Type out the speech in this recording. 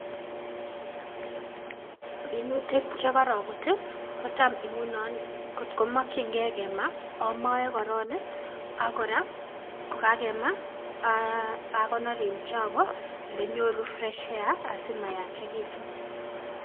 Minutik chekorobut i kotam ngunon kotko mokyingei kema omoe koron ak kora kokakema ee akonor en chogo ilenyoru fresh air asimayachegitun.